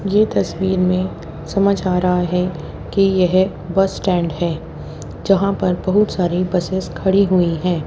ये तस्वीर में समझ आ रहा है कि यह बस स्टैंड है। जहां पर बहुत सारी बसेस खड़ी हुई है।